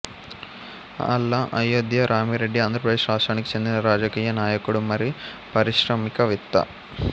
ఆళ్ల అయోధ్య రామిరెడ్డి ఆంధ్రప్రదేశ్ రాష్ట్రానికి చెందిన రాజకీయ నాయకుడు మరియు పారిశ్రామికవేత్త